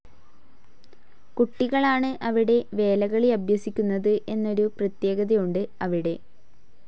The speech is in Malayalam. കുട്ടികളാണ് അവിടെ വേലകളി അഭ്യസിക്കുന്നത് എന്നൊരു പ്രത്യേകതയുണ്ട് അവിടെ.